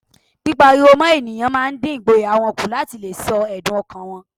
Pípá ariwo mọ́ ènìyàn máa ń dín ìgboyà wọn kù láti leè sọ èdùn ọkàn wọn